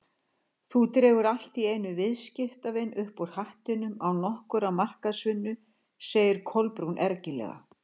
Þú dregur allt í einu viðskiptavin upp úr hattinum án nokkurrar markaðsvinnu- sagði Kolbrún ergilega.